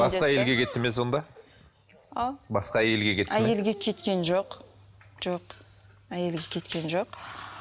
басқа әйелге кеттім ме сонда а басқа әйелге кетті ме әйелге кеткен жоқ жоқ әйелге кеткен жоқ